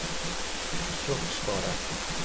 sjokkskadet